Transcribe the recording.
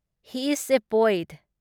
He is a point.